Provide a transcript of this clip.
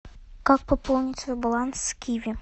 как пополнить свой баланс с киви